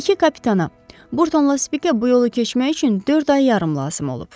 İki kapitana, Burtonla Spikə bu yolu keçmək üçün dörd ay yarım lazım olub.